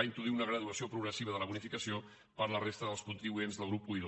introduir una graduació progressiva de la bonificació per a la resta dels contribuents dels grups i i ii